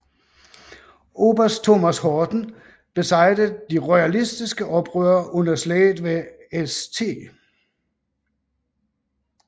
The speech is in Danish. Oberst Thomas Horton besejrede de royalistiske oprørere under slaget ved St